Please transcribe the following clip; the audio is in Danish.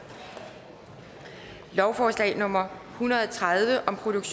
lovforslag nummer l hundrede og tredive